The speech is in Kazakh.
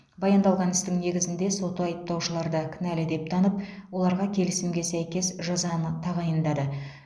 баяндалған істің негізінде сот айыпталушыларды кінәлі деп танып оларға келісімге сәйкес жазаны тағайындады